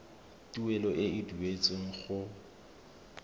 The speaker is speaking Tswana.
tuelo e e duetsweng go